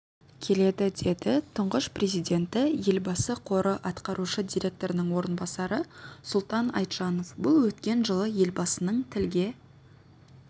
келеді деді тұңғыш президенті-елбасы қоры атқарушы директорының орынбасары сұлтан айтжанов бұл өткен жылы елбасының тілге